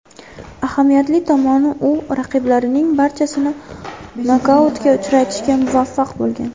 Ahamiyatli tomoni, u raqiblarining barchasini nokautga uchratishga muvaffaq bo‘lgan.